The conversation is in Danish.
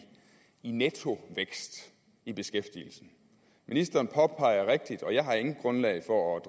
nettovækst i beskæftigelsen ministeren påpeger rigtigt og jeg har intet grundlag for at